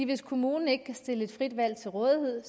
hvis kommunen ikke kan stille et frit valg til rådighed